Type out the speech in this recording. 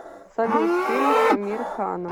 салют фильм с амир ханом